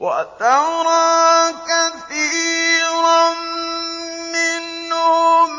وَتَرَىٰ كَثِيرًا مِّنْهُمْ